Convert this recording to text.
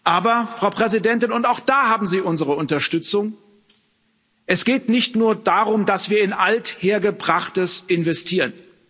Aber, Frau Präsidentin, und auch da haben Sie unsere Unterstützung, es geht nicht nur darum, dass wir in Althergebrachtes investieren.